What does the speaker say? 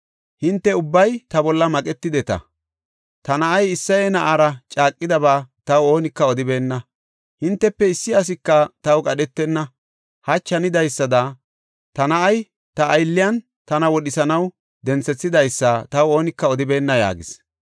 Hinte ubbay ta bolla maqetideta; ta na7ay Isseye na7aara caaqidaba taw oonika odibeenna. Hintefe issi asika taw qadhetenna; hachi hanidaysada ta na7ay ta aylliyan tana wodhisanaw denthethidaysa taw oonika odibeenna” yaagis.